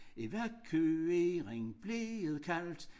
Evakuering blev det kaldt